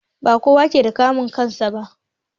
Ba kowa ke da kamun kai na kansu ba.